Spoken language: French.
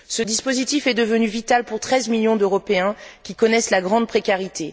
Ce dispositif est devenu vital pour 13 millions d'Européens qui connaissent la grande précarité.